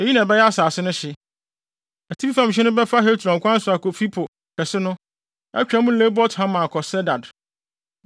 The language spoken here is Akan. “Eyi na ɛbɛyɛ asase no hye: “Atifi fam hye no bɛfa Hetlon kwan so akofi Po kɛse no, atwa mu Lebo Hamat akɔ Sedad,